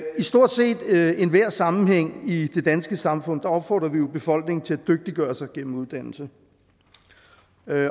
stort set enhver sammenhæng i det danske samfund opfordrer vi jo befolkningen til at dygtiggøre sig gennem uddannelse